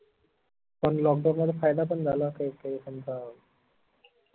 पण lockdown चा फायदा पन झाला काई काई तुमचा